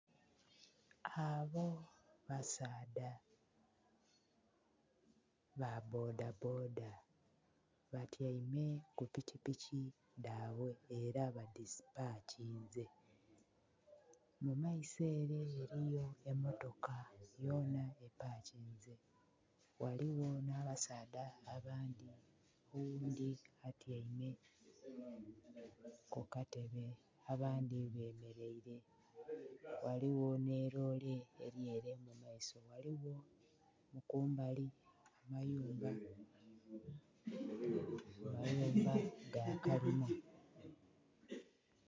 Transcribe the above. Abo basaadha ba bboda bboda batyaime ku pikipiki dhaibwe era ba dhipakinze. Mu maiso ele eliyo emmotoka yonha epakinze, ghaligho nh'abasaadha abandhi oghundhi atyaime ku katebe abandhi bemeleire. Ghaligho nhi loole eli ele mu maiso. Ghaligho ku mbali amayumba, amayumba ga kalina.